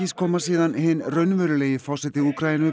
koma síðan hinn raunverulegi forseti Úkraínu